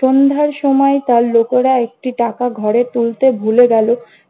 সন্ধ্যার সময় তার লোকেরা একটি টাকা ঘরে তুলতে ভুলে গেল।